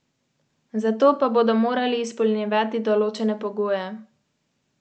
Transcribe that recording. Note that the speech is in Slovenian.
Državni zbor na javni dražbi prodaja kar dva avtomobila.